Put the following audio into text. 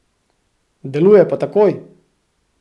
Deluje pa takoj!